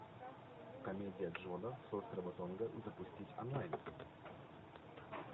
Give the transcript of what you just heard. комедия джона с острова тонга запустить онлайн